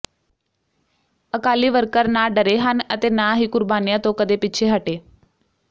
Akali worker ਨਾ ਡਰੇ ਹਨ ਅਤੇ ਨਾ ਹੀ ਕੁਰਬਾਨੀਆਂ ਤੋਂ ਕਦੇ ਪਿੱਛੇ ਹਟੇ